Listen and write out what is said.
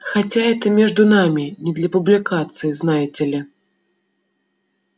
хотя это между нами не для публикации знаете ли